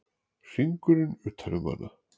Hringurinn utan um hana.